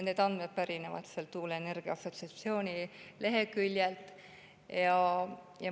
Need andmed pärinevad tuuleenergia assotsiatsiooni leheküljelt.